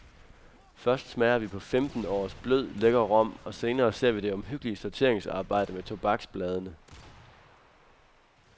Først smager vi på femten års blød, lækker rom og senere ser vi det omhyggelige sorteringsarbejde med tobaksbladene.